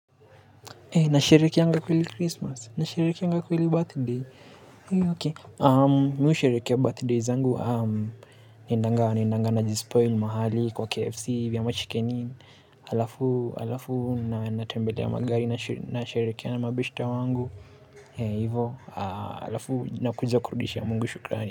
Nasherehekeanga kweli Christmas? Nasherehekeanga kweli birthday? Mi husherehekea birthday zangu, naendanga, naendanga najispoil mahali kwa KFC ama Chicken Inn. Halafu, halafu, natembelea maguy, nasherehekea na mabeshte wangu. Hivo halafu, nakuja kurudishia mungu shukrani.